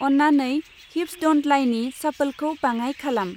अन्नानै हिप्स दन्त लाइनि शाफोलखौ बाङाय खालाम।